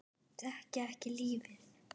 Þekkja ekki lífið.